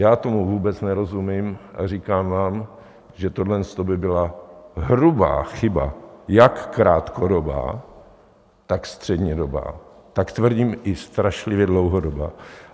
Já tomu vůbec nerozumím a říkám vám, že tohleto by byla hrubá chyba - jak krátkodobá, tak střednědobá, tak tvrdím, i strašlivě dlouhodobá.